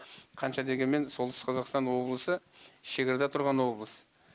қанша дегенмен солтүстік қазақстан облысы шекарада тұрған облыс